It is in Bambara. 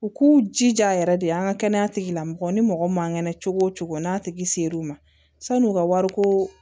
U k'u jija yɛrɛ de an ga kɛnɛya tigilamɔgɔw ni mɔgɔ ma ŋɛnɛ cogo cogo n'a tigi ser'u ma san'u ka wari ko